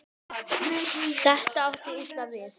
Þetta átti illa við